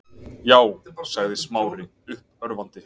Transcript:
Já- sagði Smári uppörvandi.